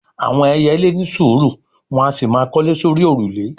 àwọn ẹyẹlé ni sùúrù, wọn a sì máa kọ́lé sórí òrùlé